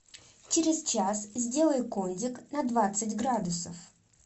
через час сделай кондик на двадцать градусов